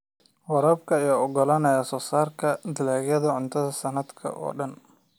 Waraabka ayaa u oggolaanaya soosaarka dalagyada cuntada sanadka oo dhan.